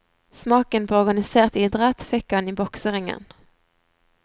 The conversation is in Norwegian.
Smaken på organisert idrett fikk han i bokseringen.